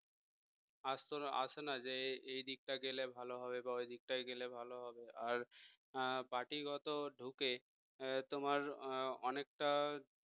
আসতো না আসে না যে যে এই দিকটা গেলে ভালো হবে বা ওই দিকটাই গেলে ভালো হবে আর party গত ঢুকে তোমার অনেকটা